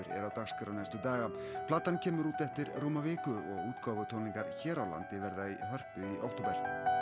dagskránni næstu daga platan kemur út eftir rúma viku og útgáfutónleikar hér á landi verða í Hörpu í október